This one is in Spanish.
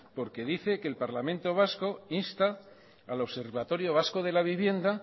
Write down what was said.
porque dice que el parlamento vasco insta al observatorio vasco de la vivienda